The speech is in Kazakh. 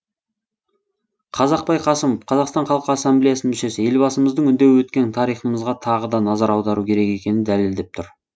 қазақбай қасымов қазақстан халқы ассамблеясының мүшесі елбасымыздың үндеуі өткен тарихымызға тағы да назар аудару керек екенін дәлелдеп тұр